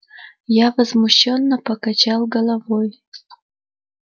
я возмущённо покачал головой